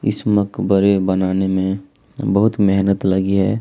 इस मकबरे बनाने में बहुत मेहनत लगी है।